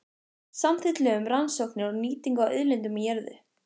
Samþykkt lög um rannsóknir og nýtingu á auðlindum í jörðu.